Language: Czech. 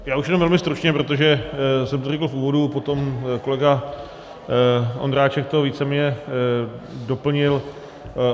Já už jenom velmi stručně, protože jsem to řekl v úvodu, potom kolega Ondráček to víceméně doplnil.